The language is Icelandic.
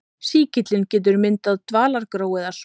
Sýkillinn getur myndað dvalagró eða spora.